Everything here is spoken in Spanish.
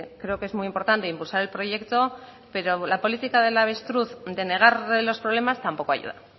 creo que es muy importante impulsar el proyecto pero la política del avestruz de negar los problemas tampoco ayuda